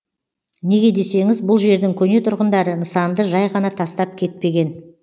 неге десеңіз бұл жердің көне тұрғындары нысанды жай ғана тастап кетпеген